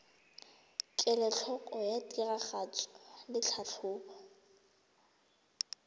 kelotlhoko ya tiragatso le tlhatlhobo